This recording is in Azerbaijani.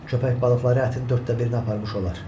Köpək balıqları ətin dörddə birini aparmış olar.